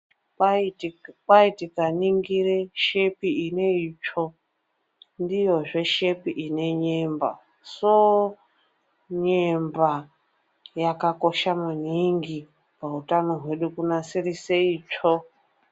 Kwai tikaningira shepi ineitsvo ndiyozve shepi ine nyemba. Soo nyemba yakakosha maningi pautano hwedu kunasirise itsvo.